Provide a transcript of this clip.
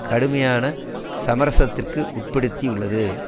கடுமையான சமரசத்திற்கு உட்படுத்தியுள்ளது